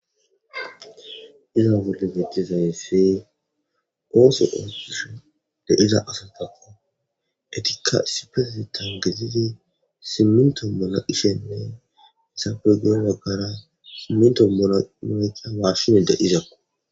Izza bolla betizaysi othon de'iza asata etika issippetetha ke'idi siminto heysappe guye bagara meshishe de'izako